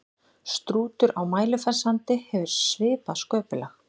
Strútur á Mælifellssandi hefur svipað sköpulag.